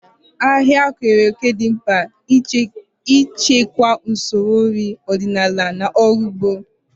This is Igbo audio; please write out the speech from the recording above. Ahịa keere òkè dị mkpa n'ichekwa usoro nri ọdịnala na ọrụ ugbo.